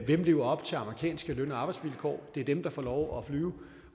der lever op til amerikanske løn og arbejdsvilkår det er dem der får lov at flyve